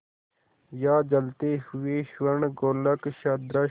या जलते हुए स्वर्णगोलक सदृश